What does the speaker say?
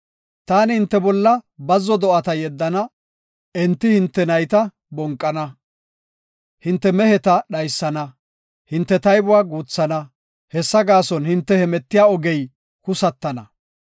Taani hinte bolla bazzo do7ata yeddana; enti hinte nayta bonqana. Hinte meheta dhaysana; hinte taybuwa guuthana; hessa gaason hinte hemetiya ogey husatana.